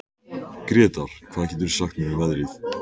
Gretar, hvað geturðu sagt mér um veðrið?